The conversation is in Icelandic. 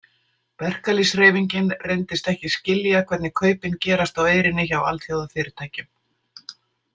Verkalýðshreyfingin reyndist ekki skilja hvernig kaupin gerast á eyrinni hjá alþjóðafyrirtækjum.